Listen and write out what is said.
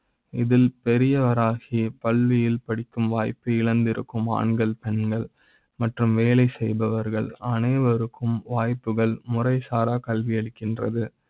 இதில் பெரிய வராகி பள்ளியில் படி க்கும் வாய்ப்பை இழந்திருக்கும் ஆண்கள், பெண்கள் மற்றும் வேலை செய்பவர்கள் அனைவருக்கு ம் வாய்ப்புகள் முறை சாரா கல்வி அளிக்கின்றது.